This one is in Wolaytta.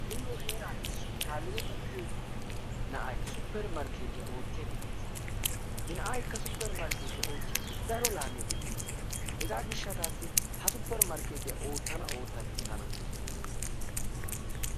Nuuyo heeraan issi naziretta giyo na'ay supper markeettiya oottiyaagee de'ees. He na'aykka supper markeetiya oottidi daro laamiyaa demmiis. Hegaa gishshataassi ha supper markettiya ottana ootta giis tana.